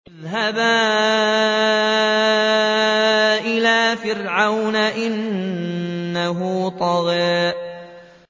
اذْهَبَا إِلَىٰ فِرْعَوْنَ إِنَّهُ طَغَىٰ